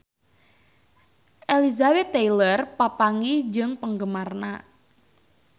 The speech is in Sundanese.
Elizabeth Taylor papanggih jeung penggemarna